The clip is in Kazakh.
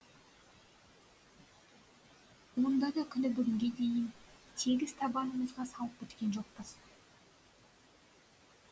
онда да күні бүгінге дейін тегіс табанымызға салып біткен жоқпыз